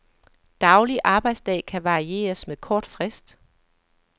Daglig arbejdsdag kan varieres med kort frist.